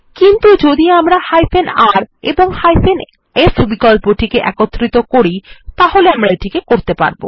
কিন্তু যদি আমরা r এবং f বিকল্পটি একত্রিত করি তাহলে আমরা এটি করতে পারব